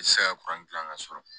I tɛ se ka gilan ka sɔrɔ